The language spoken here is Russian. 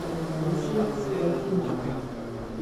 включить латинская